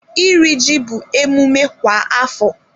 Iri ji bụ emume kwa afọ.